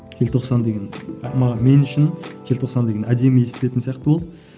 желтоқсан деген мен үшін желтоқсан деген әдемі естілетін сияқты болды